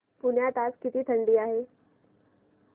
पुण्यात आज किती थंडी आहे